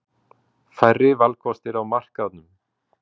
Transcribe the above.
Færri valkostir á markaðnum.